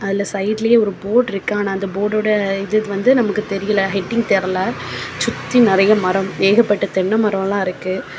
அதுல சைட்லியே ஒரு போட் இருக்கு ஆன அந்த போட்டோட இது வந்து நமக்கு தெரியல ஹெட்டிங் தெரியல சுத்தி நெறைய மரம் ஏகப்பட்ட தென்னை மரல இருக்கு.